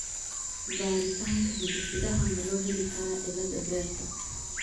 Baaritaanka hidde-sidaha ma loo heli karaa cilada bertaa ?